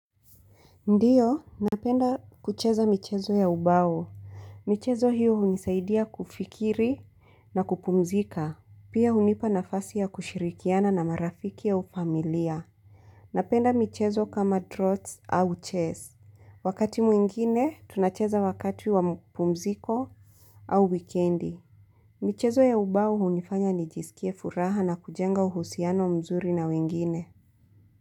Ndiyo, napenda kucheza michezo ya ubao. Michezo hiyo hunisaidia kufikiri na kupumzika. Pia hunipa nafasi ya kushirikiana na marafiki au familia. Napenda michezo kama trots au chess Wakati mwingine, tunacheza wakati wa mapumziko au wikendi. Michezo ya ubao hunifanya nijisikie furaha na kujenga uhusiano mzuri na wengine.